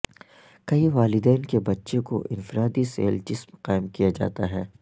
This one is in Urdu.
کئی والدین کے بچے کو انفرادی سیل جسم قائم کیا جاتا ہے